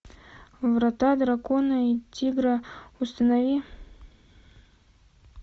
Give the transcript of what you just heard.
врата дракона и тигра установи